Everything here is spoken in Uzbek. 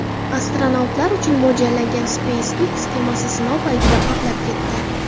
Astronavtlar uchun mo‘ljallangan SpaceX kemasi sinov paytida portlab ketdi .